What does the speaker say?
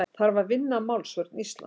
Þarf að vinna að málsvörn Íslands